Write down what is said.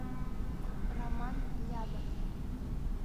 роман лядов